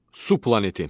Su planeti.